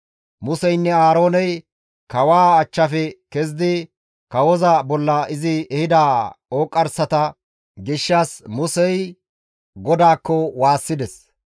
Museynne Aarooney kawaa achchafe kezidi kawoza bolla izi ehida ooqqarsata gishshas Musey GODAAKKO waassides.